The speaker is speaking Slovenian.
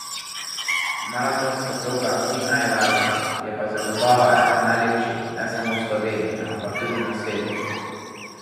Maratonska proga ni najlažja, je pa zagotovo ena lepših ne samo v Sloveniji, ampak tudi na svetu.